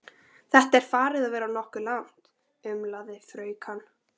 Þetta er farið að verða nokkuð langt, umlaði fraukan.